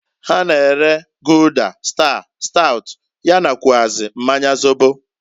Ha na-ere Gulder, Star, Stout, ya nakwuazi mmanya zobo.